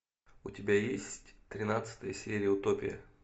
у тебя есть тринадцатая серия утопия